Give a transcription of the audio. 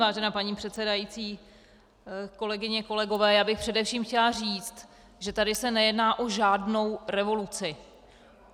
Vážená paní předsedající, kolegyně, kolegové, já bych především chtěla říct, že tady se nejedná o žádnou revoluci.